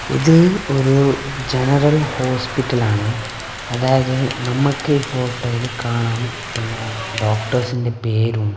ഇത് ഒരു ജനറൽ ഹോസ്പിറ്റലാണ് അതായത് നമ്മക്കീ ഫോട്ടോയില് കാണാം പിന്നെ ഡോക്ടേഴ്സിന്റെ പേരും--